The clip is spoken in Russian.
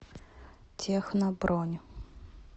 техно бронь